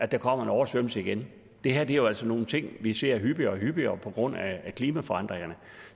der kommer en oversvømmelse igen det her er jo altså nogle ting vi ser hyppigere og hyppigere på grund af klimaforandringerne